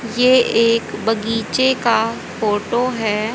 ये एक बगीचे का फोटो है।